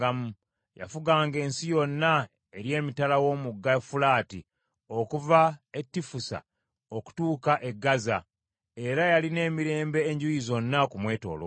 Yafuganga ensi yonna eri emitala w’Omugga Fulaati, okuva e Tifusa okutuuka e Gaaza, era yalina emirembe enjuuyi zonna okumwetooloola.